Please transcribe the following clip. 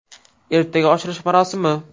Ertaga ochilish marosimi.